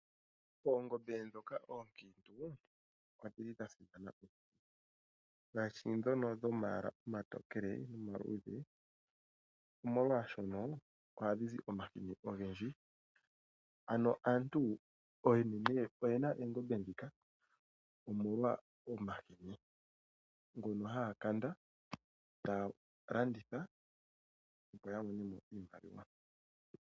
Oongombe ndhoka oonkiintu odhi li dha simana ngaashi ndhono dhomayala omatokele nomaluudhe omolwaashono ohaga zi omahini ogendji. Ano aantu oyendji oyena oongombe ndhika